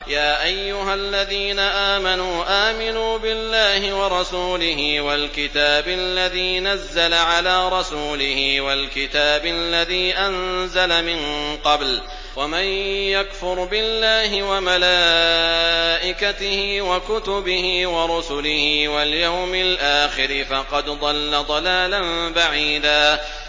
يَا أَيُّهَا الَّذِينَ آمَنُوا آمِنُوا بِاللَّهِ وَرَسُولِهِ وَالْكِتَابِ الَّذِي نَزَّلَ عَلَىٰ رَسُولِهِ وَالْكِتَابِ الَّذِي أَنزَلَ مِن قَبْلُ ۚ وَمَن يَكْفُرْ بِاللَّهِ وَمَلَائِكَتِهِ وَكُتُبِهِ وَرُسُلِهِ وَالْيَوْمِ الْآخِرِ فَقَدْ ضَلَّ ضَلَالًا بَعِيدًا